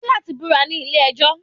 O ní láti búra nílé ejọ́